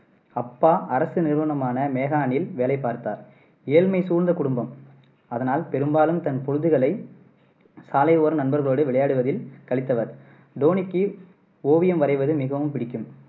அப்பா அரசு நிறுவனமான மேகானில் வேலை பார்த்தார். ஏழ்மை சூழ்ந்த குடும்பம். அதனால் பெரும்பாலும் தன் பொழுதுகளை சாலை ஓரம் நண்பர்களோடு விளையாடுவதில் கழித்தவர். தோனிக்கு ஓவியம் வரைவது மிகவும் பிடிக்கும்.